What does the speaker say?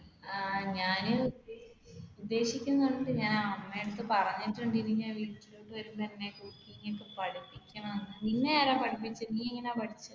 ആഹ് ഞാൻ ഉദ്ദേശിക്കുന്നുണ്ട് ഞാൻ അമ്മയുടെ അടുത്ത് പറഞ്ഞിട്ടുണ്ട്. നിന്നെ ആരാ പഠിപ്പിച്ചത് നീയെങ്ങനെ പഠിച്ചത്?